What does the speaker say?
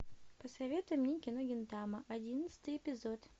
посоветуй мне кино гинтама одиннадцатый эпизод